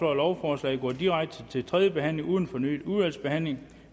at lovforslaget går direkte til tredje behandling uden fornyet udvalgsbehandling